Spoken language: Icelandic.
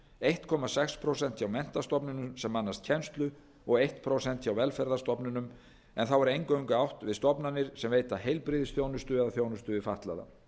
einn komma sex prósent hjá menntastofnunum sem annast kennslu og eitt prósent hjá velferðarstofnunum en þá er eingöngu átt við stofnanir sem veita heilbrigðisþjónustu eða þjónustu við fatlaða